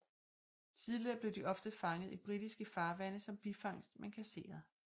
Tidligere blev de ofte fanget i britiske farvande som bifangst men kasseret